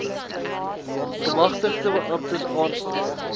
gemagtigde beamptes aanstel